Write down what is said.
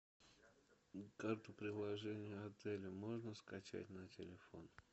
карту приложение отеля можно скачать на телефон